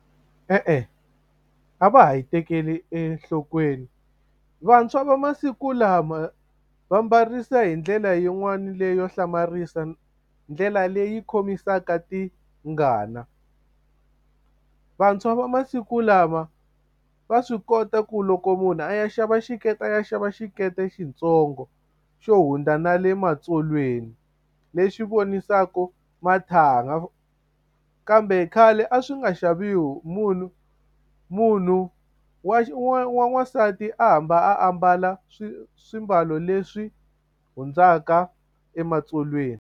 E-e a va ha yi tekeli enhlokweni vantshwa va masiku lama va mbarisa hi ndlela yin'wani leyo hlamarisa ndlela leyi khomisaka tingana vantshwa va masiku lama va swi kota ku loko munhu a ya xava xikete a ya xava xikete xitsongo xo hundza na le matsolweni lexi vonisaka mathanga kambe khale a swi nga xaviwi munhu munhu wa wa n'wansati a hamba a mbala swimbalo leswi hundzaka ematsolweni.